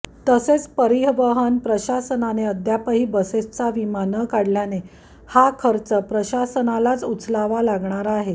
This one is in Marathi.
तसेच परिवहन प्रशासनाने अद्यापही बसेसचा विमा न काढल्याने हा खर्च प्रशासनालाच उचलावा लागणार आहे